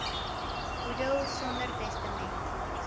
boedel sonder testament